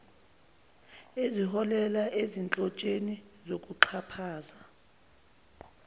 eziholela ezinhlotsheni zokuxhaphaza